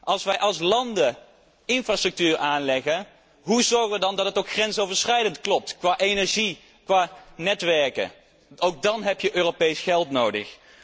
Als wij als landen infrastructuur aanleggen, hoe zorgen we dan dat dit ook grensoverschrijdend klopt op het gebied van energie en netwerken? Ook dan heb je Europees geld nodig.